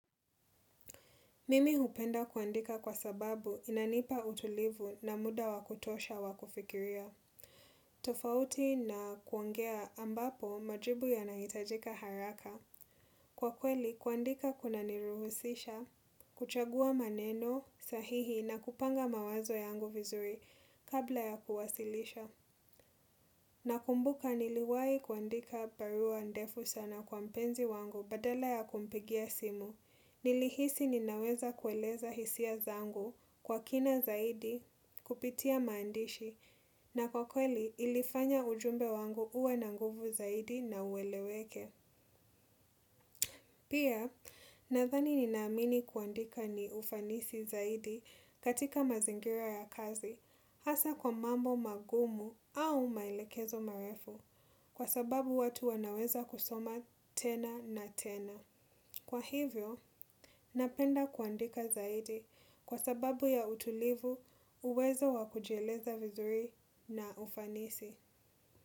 Mimi hupenda kuandika kwa sababu inanipa utulivu na muda wakutosha wakufikiria. Tofauti na kuongea ambapo majibu yanahitajika haraka. Kwa kweli, kuandika kuna niruhusisha, kuchagua maneno sahihi na kupanga mawazo yangu vizuri kabla ya kuwasilisha. Nakumbuka niliwai kuandika barua ndefu sana kwa mpenzi wangu badala ya kumpigia simu. Nilihisi ninaweza kueleza hisia zangu kwa kina zaidi kupitia maandishi na kwa kweli ilifanya ujumbe wangu uwe na nguvu zaidi na ueleweke. Pia, nadhani ninaamini kuandika ni ufanisi zaidi katika mazingira ya kazi hasa kwa mambo magumu au maelekezo marefu kwa sababu watu wanaweza kusoma tena na tena. Kwa hivyo, napenda kuandika zaidi kwa sababu ya utulivu, uwezo wakujieleza vizuri na ufanisi.